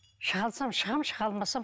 шыға алсам шығамын шыға алмасам